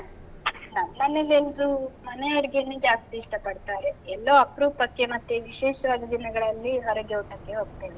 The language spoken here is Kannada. ನಮ್ಮನೇಲೇಲ್ರೂ ಮನೆ ಅಡ್ಗೇನೇ ಜಾಸ್ತಿ ಇಷ್ಟ ಪಡ್ತಾರೆ. ಎಲ್ಲೋ ಅಪ್ರೂಪಕ್ಕೆ ಮತ್ತೆ ವಿಶೇಷವಾದ ದಿನಗಳಲ್ಲಿ ಹೊರಗೆ ಊಟಕ್ಕೆ ಹೋಗ್ತೇವೆ.